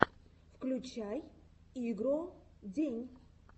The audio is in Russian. включай игро день